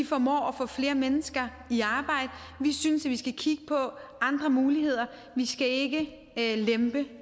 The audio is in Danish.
formår at få flere mennesker i arbejde vi synes at vi skal kigge på andre muligheder vi skal ikke lempe